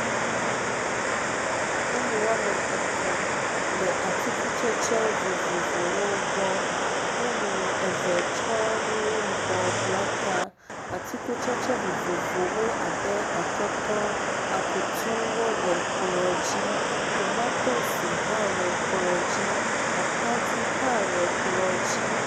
Nyɔnu woame tɔ̃ le atikutsetse vovovowo gbɔ. Nyɔnu eve tsɔ nu yibɔ bla ta. Atikutsetse vovovowo abe atɔtɔ, akutuwo le kplɔ dzi, tomatosi hã le kplɔ dzi, atadi hã le kplɔ dzi.